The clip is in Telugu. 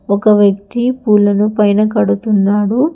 ఒక వ్యక్తి పూలను పైన కడుతున్నాడు.